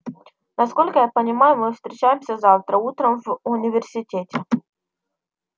насколько я понимаю мы встречаемся завтра утром в университете